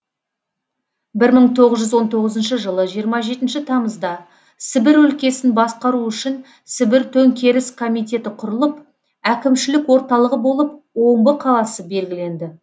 бір мың тоғыз жүз он тоғызыншы жылы жиырма жетінші тамызда сібір өлкесін басқару үшін сібір төңкеріс комитеті құрылып әкімшілік орталығы болып омбы қаласы белгіленді